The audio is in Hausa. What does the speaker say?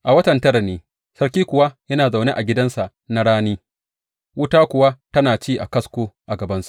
A watan tara ne sarki kuwa yana zaune a gidansa na rani, wuta kuwa tana ci a kasko a gabansa.